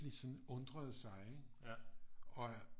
Sådan undrede sig ikke og